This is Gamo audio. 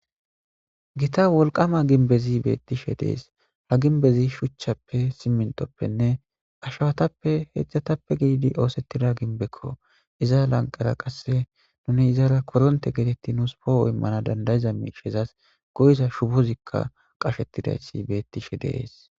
Gitta wolqama ginbezi beettishe dees ha ginbezi shuchchappe simintoppenne ashawatappe heedzdzatappe giidi oosettida ginbekko iza lanqara qasse nuni izara koronte geetetti nuus pooho immana dandayiza miishezas goyiza shubozikka qashettidayssi beettishe dees